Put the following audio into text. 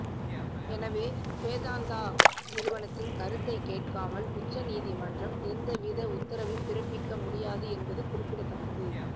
எனவே வேதாந்தா நிறுவனத்தின் கருத்தை கேட்காமல் உச்சநீதிமன்றம் எந்தவித உத்தரவையும் பிறப்பிக்க முடியாது என்பது குறிப்பிடத்தக்கது